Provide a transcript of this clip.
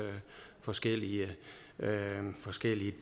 forskellige forskellige